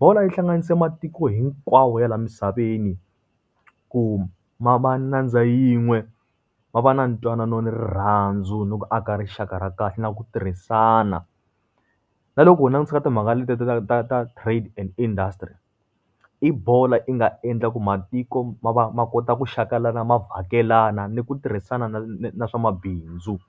Bolo yi hlanganise matiko hinkwawo ya laha misaveni, ku ma va nyandza yin'we, va va na ntwanano na rirhandzu ni ku aka rixaka ra kahle, na ku tirhisana. Na loko u langutisa ka timhaka letiya ta ta ta ta trade and industry, i bolo yi nga endla ku matiko ma va ma kota ku xakelana, ma vhakelana, ni ku tirhisana na na na swa mabindzu.